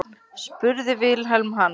spurði Vilhelm hana.